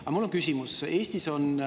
Aga mul on küsimus.